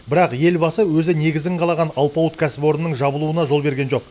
бірақ елбасы өзі негізін қалаған алпауыт кәсіпорынның жабылуына жол берген жоқ